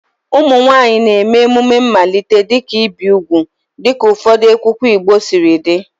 Ụmụ nwanyị na-eme emume mmalite, dịka ibi úgwù dịka ụfọdụ nkwenkwe Igbo siri dị.